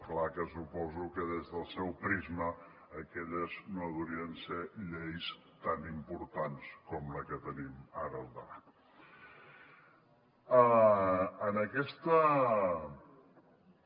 clar que suposo que des del seu prisma aquelles no deurien ser lleis tan importants com la que tenim ara al davant